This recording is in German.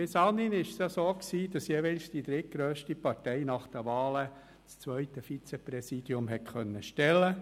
Bis anhin war es so, dass jeweils die drittgrösste Partei nach den Wahlen das zweite Vizepräsidium stellen konnte.